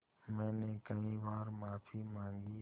मैंने कई बार माफ़ी माँगी